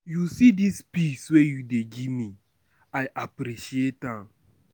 You see dis peace wey you dey give me, I appreciate am.